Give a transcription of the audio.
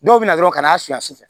Dɔw bɛ na dɔrɔn ka n'a su a sufɛ